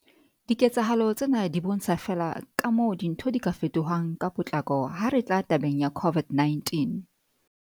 Diketsahalo tsena di bontsha feela kamoo dintho di ka fetohang ka potlako ha re tla tabeng ya COVID-19.